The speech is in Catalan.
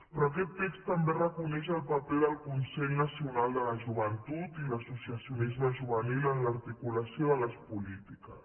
però aquest text també reconeix el paper del consell nacional de la joventut i l’associacionisme juvenil en l’articulació de les polítiques